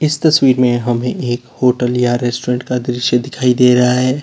इस तस्वीर में हमें एक होटल या रेस्टुरेंट का दृश्य दिखाई दे रहा है।